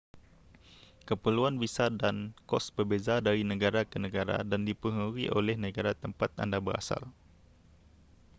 keperluan visa dan kos berbeza dari negara ke negara dan dipengaruhi oleh negara tempat anda berasal